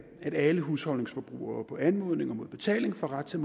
at alle husholdningsforbrugere på anmodning og mod betaling får ret til